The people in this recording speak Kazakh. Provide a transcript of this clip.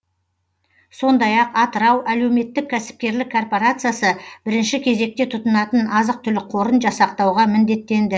сондай ақ атырау әлеуметтік кәсіпкерлік корпорациясы бірінші кезекте тұтынатын азық түлік қорын жасақтауға міндеттенді